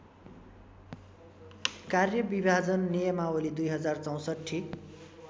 कार्यविभाजन नियमावली २०६४